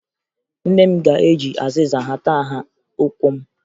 Nne m ga-eji azịza hata nha ụkwụ m